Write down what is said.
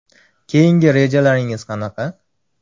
Keyingi rejalaringiz qanaqa?